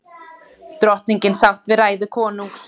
Drottningin sátt við ræðu konungs